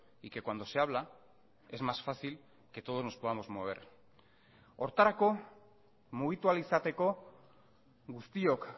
y que cuando se habla es más fácil que todos nos podamos mover horretarako mugitu ahal izateko guztiok